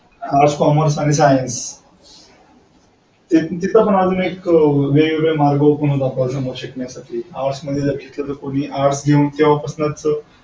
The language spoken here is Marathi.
arts commerce science तिथे पण अजून वेगवेगळे मार्ग open होतात आपल्यासमोर शिकण्यासाठी आर्टस् मध्ये कोणी आर्टस् घेऊन जर